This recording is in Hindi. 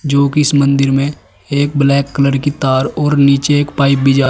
जो की इस मंदिर में एक ब्लैक कलर की तार और नीचे एक पाइप भी जा--